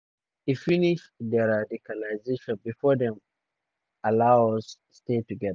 "e finish deradicalisation bifor dem allow us stay togeda.